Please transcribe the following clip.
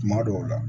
Kuma dɔw la